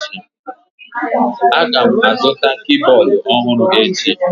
Agam azụta kibọọdụ ọhụrụ ahụ echi.